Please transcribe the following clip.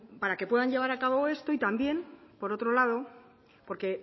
para que puedan llevar acabo esto y también por otro lado porque